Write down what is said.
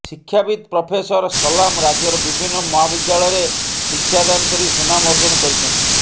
ଶିକ୍ଷାବିତ୍ ପ୍ରଫେସର ସଲାମ ରାଜ୍ୟର ବିଭିନ୍ନ ମହାବିଦ୍ୟାଳୟରେ ଶିକ୍ଷାଦାନ କରି ସୁନାମ ଅର୍ଜନ କରିଛନ୍ତି